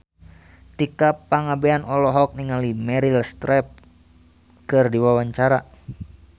Tika Pangabean olohok ningali Meryl Streep keur diwawancara